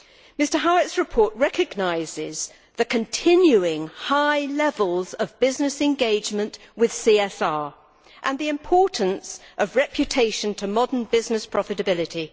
Mr Howitt's report recognises the continuing high levels of business engagement with CSR and the importance of reputation to modern business profitability.